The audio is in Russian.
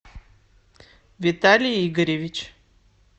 виталий игоревич